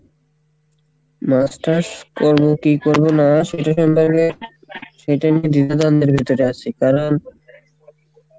masters করবো কী করবো না আছি কারণ,